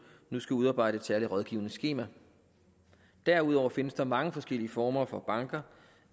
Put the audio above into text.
nu skal udarbejde et særligt rådgivningsskema derudover findes der mange forskellige former for banker